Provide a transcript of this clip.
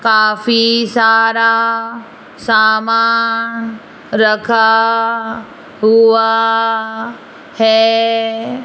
काफी सारा सामान रखा हुआ है।